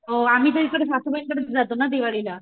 हो आम्ही तर इकडे सासूबाईंकडे जातो ना दिवाळी ला